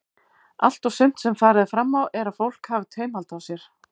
Allt og sumt sem farið er fram á er að fólk hafi taumhald á sér.